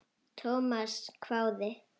Thomas hváði.